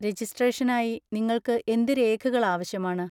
രജിസ്ട്രേഷനായി നിങ്ങൾക്ക് എന്ത് രേഖകൾ ആവശ്യമാണ്?